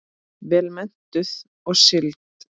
Vel menntuð og sigld.